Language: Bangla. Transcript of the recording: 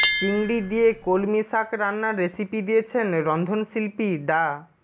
চিংড়ি দিয়ে কলমি শাক রান্নার রেসিপি দিয়েছেন রন্ধনশিল্পী ডা